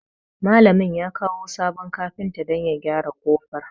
Malamin ya kawo sabon kafinta don ya gyara ƙofar.